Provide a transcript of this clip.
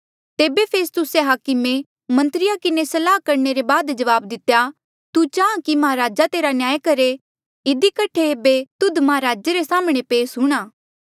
तेबे फेस्तुस्से हाकमे मन्त्रिया किन्हें सलाह करणे ले बाद जवाब दितेया तू चाहां कि महाराज तेरा न्याय करहे इधी कठे एेबे तुध महाराजे रे साम्हणें पेस हूंणां